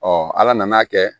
ala nan'a kɛ